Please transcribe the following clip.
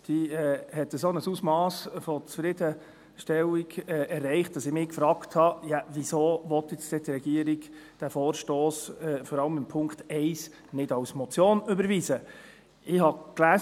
Sie hat ein solches Ausmass an Zufriedenstellung erreicht, dass ich mich gefragt habe, wieso die Regierung diesen Vorstoss, vor allem den Punkt 1, nicht als Motion überwiesen haben will.